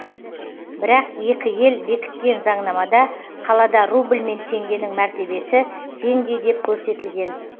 бірақ екі ел бекіткен заңнамада қалада рубль мен теңгенің мәртебесі теңдей деп көрсетілген